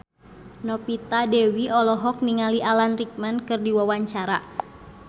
Novita Dewi olohok ningali Alan Rickman keur diwawancara